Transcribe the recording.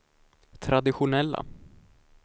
traditionella